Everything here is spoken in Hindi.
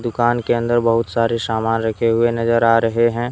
दुकान के अंदर बहुत सारे सामान रखे हुए नजर आ रहे हैं।